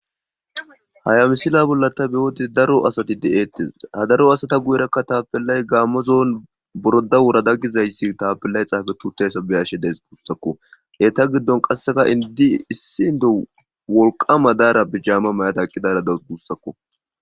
hayamisila bolla ta biyoode daro asati de7eettis hadaro asata guyerakka taapellay gaammozoon boroda wurada gizayssi taapillay xaafe tutey sabeyashe dees buussakko eta giddon qasseka indi issi inde wolqama daara bijaama mayada eqidaara da gussakko